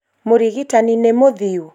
mũrigitani nĩ mũthiu?